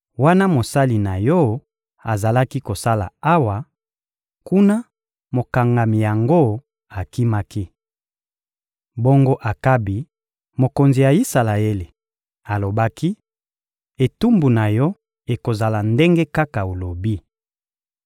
Wana mosali na yo azalaki kosala awa, kuna, mokangami yango akimaki. Bongo Akabi, mokonzi ya Isalaele, alobaki: — Etumbu na yo ekozala ndenge kaka olobi.